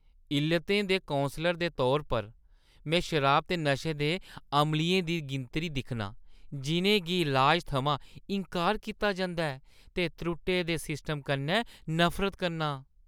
इल्लतें दे कौंसलर दे तौर उप्पर में शराब ते नशे दे अमलियें दी गिनतरी दिक्खनां जिनें गी इलाज थमां इंकार कीता जंदा ऐ ते त्रुट्टे दे सिस्टम कन्नै नफरत करना आं।